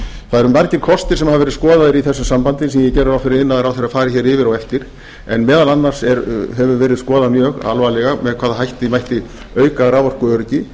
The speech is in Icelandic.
það eru margir kostir sem hafa verið skoðaðir í þessu sambandi sem ég geri ráð fyrir að iðnaðarráðherra fari hér yfir á eftir en meðal annars hefur verið skoðað mjög alvarlega með hvaða hætti mætti auka raforkuöryggi